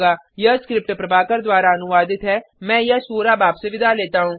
यह स्क्रिप्ट प्रभाकर द्वारा अनुवादित है मैं यश वोरा अब आपसे विदा लेता हूँ